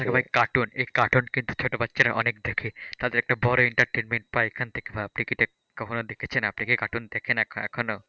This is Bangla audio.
ভাই cartoon এই cartoon কিন্তু ছোট বাচ্চারা অনেক দেখে তাদের একটা বড়ো entertainment পায় এখান থেকে, আপনি কি কখনো দেখেছেন? আপনি কি cartoon দেখেন এখনো?